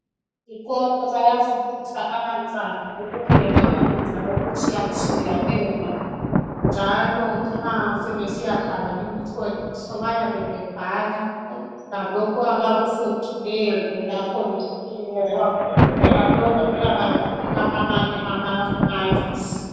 Ezikolo bayafundisa abantwana ukupheka ukudla okutshiya tshiyeneyo njalo nxa sebesiya bhala imihloliso bayabe bebhala ngalokho abakufundileyo lapho bepheka ukupheka lokhu kuyabanika amanye ama makisi.